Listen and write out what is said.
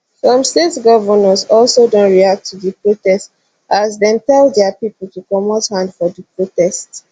some state govnors also don react to di protest as dem tell dia pipo to comot hand for di protest